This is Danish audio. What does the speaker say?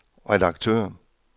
redaktør